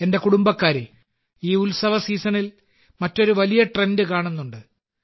എന്റെ കുടുംബക്കാരേ ഈ ഉത്സവ സീസണിൽ മറ്റൊരു വലിയ ട്രെൻഡ് കാണുന്നുണ്ട്